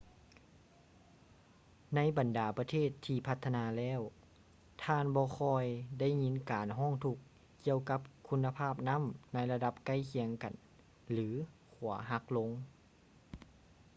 ໃນບັນດາປະເທດທີ່ພັດທະນາແລ້ວ ທ່ານບໍ່ຄ່ອຍໄດ້ຍິນການຮ້ອງທຸກ ກ່ຽວກັບຄຸນນະພາບນໍ້າໃນລະດັບໃກ້ຄຽງກັນ ຫຼື ຂົວຫັກລົງ